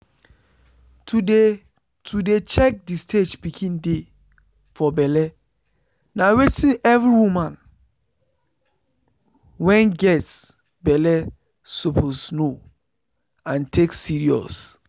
to dey to dey check the stage pikin dey for belle na wetin every woman wen get belle suppose know and take serious.